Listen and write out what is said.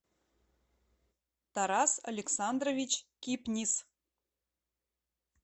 тарас александрович кипнис